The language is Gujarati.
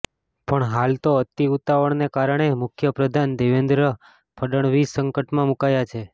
પણ હાલ તો અતિ ઉતાવળને કારણે મુખ્ય પ્રધાન દેવેન્દ્ર ફડણવીસ સંકટમાં મુકાયા છે